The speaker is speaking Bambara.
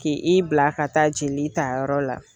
Ki i bila ka taa jeli ta yɔrɔ la.